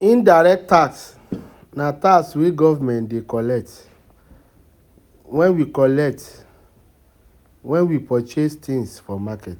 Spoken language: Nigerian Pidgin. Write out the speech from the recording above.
Indirect tax na wey government dey collect when we collect when we purchase things for market